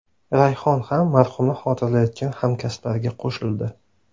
Rayhon ham marhumni xotirlayotgan hamkasblariga qo‘shildi.